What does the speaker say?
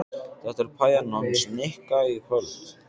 Þetta er pæjan hans Nikka í kvöld.